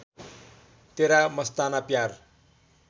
तेरा मस्ताना प्यार